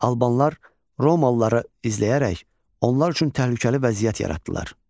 Albanlar romalıları izləyərək onlar üçün təhlükəli vəziyyət yaratdılar.